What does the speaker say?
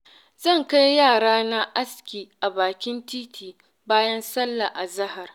Zan kai yarana aski a bakin titi, bayan sallar azahar.